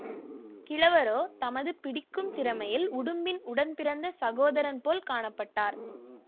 கிழவரோ தமது பிடிக்கும் திறமையில் உடும்பின் உடன்பிறந்த சகோதரன்போல் காண பட்டார்